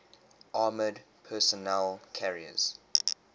armored personnel carriers